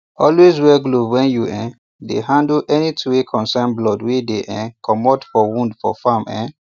always wear glove when you um dey handle anything wey concern blood wey dey um commot for wound for farm um